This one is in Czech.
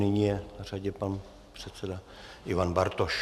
Nyní je na řadě pan předseda Ivan Bartoš.